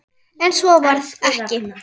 En svo varð ekki.